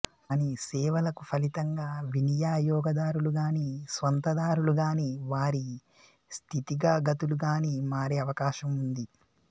కాని సేవలకు ఫలితంగా వినియయోగ దారులు గానీ స్వంతదారులు గానీ వారి స్థితిగగతులు గానీ మారే అవకాశం ఉంది